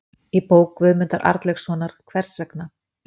Í bók Guðmundar Arnlaugssonar, Hvers vegna?